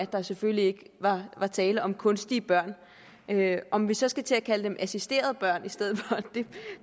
der selvfølgelig ikke er tale om kunstige børn om vi så skal til at kalde dem assisterede børn i stedet for ved